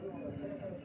Təyyarənin səsi imiş.